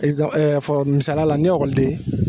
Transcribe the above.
misala la ni gilasi